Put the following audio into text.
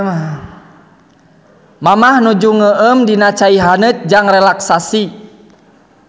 Mamah nuju ngeueum dina cai haneut jang relaksasi.